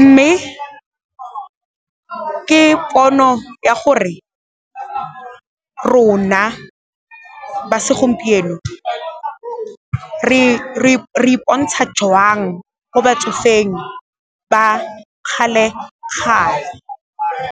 mme ke pono ya gore rona ba segompieno re ipontsha jang ko batsofeng ba kgale-kgale.